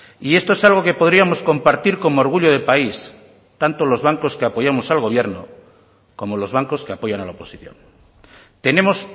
y esto es algo que podríamos compartir como orgullo de país tanto los bancos que apoyamos al gobierno como los bancos que apoyan a la oposición tenemos